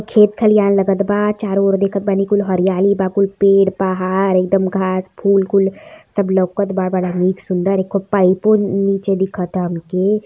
खेत खलियान लगत बा चारों ओर देखत बानी कुल हरियाली बा कुल पेड़ पहाड़ एकदम घास फूल कुल सब लौकता। बड़ा निक सुंदर पाइप को नीचे दिखता हमके।